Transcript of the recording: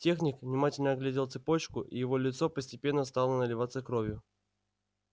техник внимательно оглядел цепочку и его лицо постепенно стало наливаться кровью